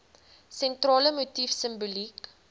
sentrale motief simboliek